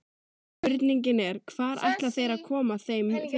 Spurningin er, hvar ætla þeir að koma þeim fyrir?